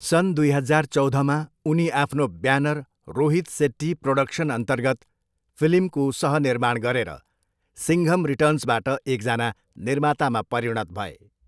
सन् दुई हजार चौधमा, उनी आफ्नो ब्यानर रोहित सेट्टी प्रोडक्सनअन्तर्गत फिल्मको सहनिर्माण गरेर सिङ्घम रिटर्न्सबाट एकजना निर्मातामा परिणत भए।